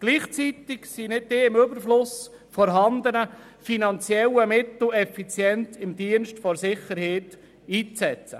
Gleichzeitig sind die nicht im Überfluss vorhandenen finanziellen Mittel effizient im Dienste der Sicherheit einzusetzen.